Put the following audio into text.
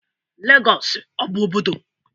Legosu s ọ bụ obodo?